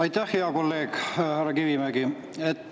Aitäh, hea kolleeg härra Kivimägi!